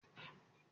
Akin bì lánàá?